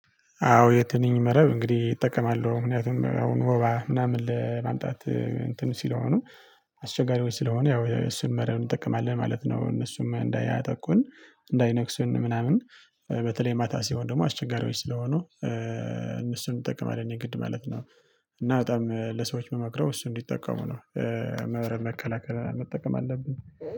አዎ የትንኝ መረብ እንግዲህ እጠቀማለሁ ምክንያቱም አሁን ወባ ምናምን ለማምጣት እንትን ሲለሆኑ አስቸጋሪዎች ስለሆኑ ያው እሱን መረብ እንጠቀማለን ማለት ነው። እነሱም እንዳያጠቁን እንዳይነክሱን ምናምን። በተለይ ማታ ሲሆን ደግሞ አስቸጋሪዎች ስለሆኑ እነሱን ይጠቅማል እኔ ግድ ማለት ነው። እና በጣም ለሰዎች ምመክረው እሱ እንዲጠቀሙ ነው። መረብ መከላከል መጠቀም አለብን